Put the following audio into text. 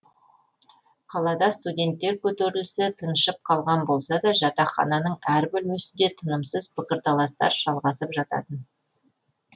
қалада студенттер көтерілісі тыншып қалған болса да жатақхананың әр бөлмесінде тынымсыз пікірталастар жалғасып жататын